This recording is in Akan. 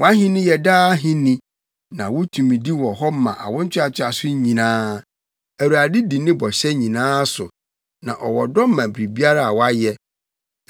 Wʼahenni yɛ daa ahenni, na wo tumidi wɔ hɔ ma awo ntoantoaso nyinaa. Awurade di ne bɔhyɛ nyinaa so, na ɔwɔ ɔdɔ ma biribiara a wayɛ.